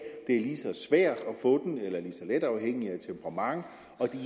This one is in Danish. få den eller lige så let afhængigt af temperament og det